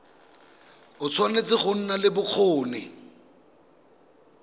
tshwanetse go nna le bokgoni